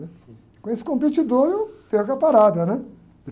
né? Com esse competidor eu perco a parada, né?